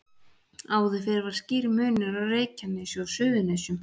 Áður fyrr var skýr munur á Reykjanesi og Suðurnesjum.